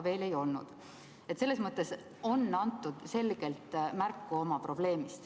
Probleemist on selgelt märku antud.